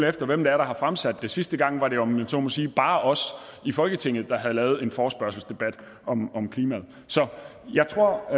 efter hvem der har fremsat det sidste gang var det jo om jeg så må sige bare os i folketinget der havde lavet en forespørgselsdebat om om klimaet så jeg tror